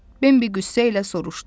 Bembi qüssə ilə soruşdu.